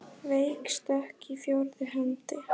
Veik stökk í fjórðu hendi!